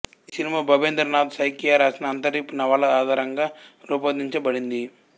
ఈ సినిమా భబేంద్ర నాథ్ సైకియా రాసిన అంతరీప్ నవల ఆధారంగా రూపొందించబడింది